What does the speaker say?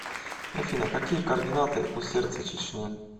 афина какие координаты у сердце чечни